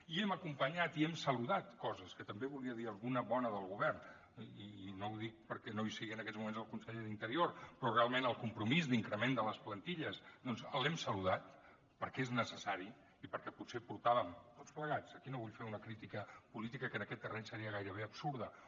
i hem acompanyat i hem saludat coses que també en volia dir alguna bona del govern i no ho dic perquè no hi sigui en aquests moments el conseller d’interior però realment el compromís d’increment de les plantilles doncs l’hem saludat perquè és necessari i perquè potser portàvem tots plegats aquí no vull fer una crítica política que en aquest terreny seria gairebé absurda